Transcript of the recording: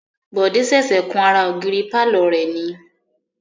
Bode ṣẹ̀ṣẹ̀ kun ara ògiri pàlọ́ rẹ̀ ni